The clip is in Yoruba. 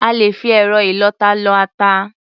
À lè fi ẹ̀rọ ìlọ-ata lọ ata.